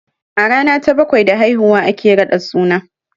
A rana ta bakwai da haihuwa ake raɗa suna